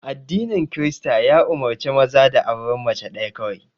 Addinin Kirista ya umurce maza da auren mace ɗaya kawai